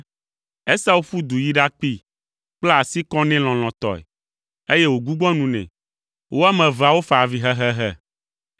Esau ƒu du yi ɖakpee, kpla asi kɔ nɛ lɔlɔ̃tɔe, eye wògbugbɔ nu nɛ. Wo ame eveawo fa avi hehehe!